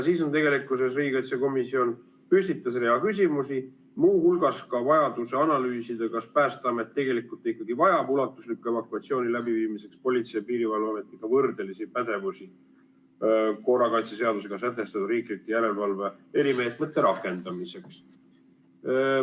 Riigikaitsekomisjon püstitas rea küsimusi, muu hulgas ka vajaduse analüüsida, kas Päästeamet tegelikult ikkagi vajab ulatusliku evakuatsiooni läbiviimiseks Politsei- ja Piirivalveametiga võrdelisi pädevusi korrakaitseseadusega sätestatud riikliku järelevalve erimeetmete rakendamiseks.